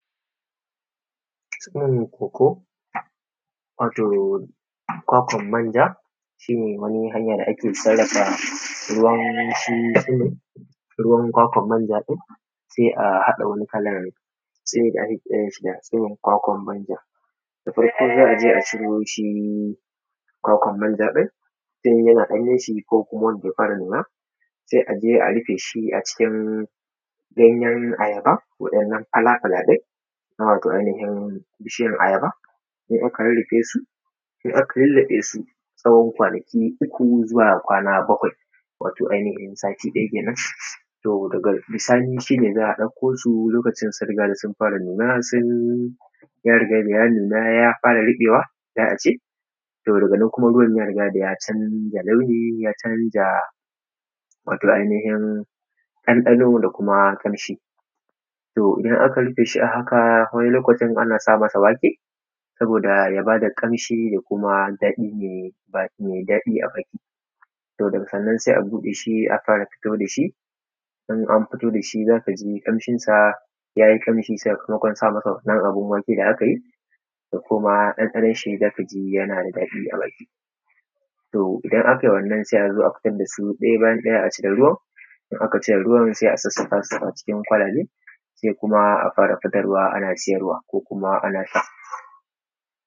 Tsiron kokoo Wato kwakwan manja shi ne wani hanya da ake sarrafa ruwan shi tsiro ruwan kwakwan manja ɗin sai a haɗa wani kalar tsimi da ake kiranshi da tsimin kwakwan manja. Da farko za a je a ciro kwakwan manja ɗin tun yana ɗanyen shi ko wanda ya fara nuna sai a je a rufe shi acikin ganyen ayaba wannan falaa-falaa ɗin na wato ainihin bishiyan ayaba in aka rurrufesu in aka lulluɓesu na tsawon kwanaki uku zuwa kwana bakwai wato ainihin sati ɗaya kenan to daga bisani shi ne za a ɗauko su lokacin sun riga da sun fara nuna sun ya rigaa da ya fara nuna ya fara ruɓewa za a ce to daga nan kuma ruwan ya rigaa da ya canja launi ya canja wato ainihin ɗanɗano da kuma ƙamshi. to idan aka rufe shi a haka wani lokacin ana sa masa wake sabooda ya baa da ƙamshi da kuma daɗi mai daɗi a baki, to daga nan sai a buɗe shi a fara fito da shi, in an fito da shi za ka ji ƙamshin sa, yayi ƙamshi sakamakon sa masa wannan abun wake da aka yi da kuma ɗanɗanonshi za ka ji yana da daɗi a baki. To idan aka yi wannan sai a zo a fito da shi ɗaya bayan ɗaya acikin ruwan in aka cire ruwan sai a sassakaasu acikin kwalabe sai kuma a fara fitarwa ana siyarwa kuma ana sha